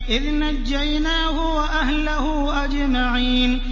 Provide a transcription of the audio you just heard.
إِذْ نَجَّيْنَاهُ وَأَهْلَهُ أَجْمَعِينَ